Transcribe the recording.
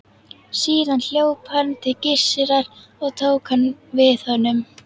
Síðan hljóp hann til Gissurar og tók hann við honum.